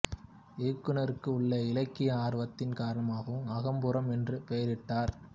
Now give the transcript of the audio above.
இயக்குனருக்கு உள்ள இலக்கிய ஆர்வத்தின் காரணமாகவும் அகம் புறம் என்று பெயரிட்டார்